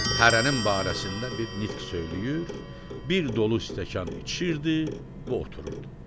Hərənin barəsində bir nitq söyləyir, bir dolu stəkan içirdi və otururdu.